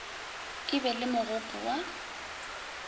a be le mogopo wa